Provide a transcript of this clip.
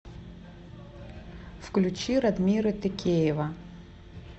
включи радмира текеева